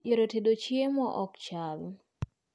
Yore tedo chiemo ok chal